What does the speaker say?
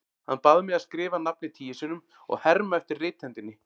Hann bað mig að skrifa nafnið tíu sinnum og herma eftir rithendinni.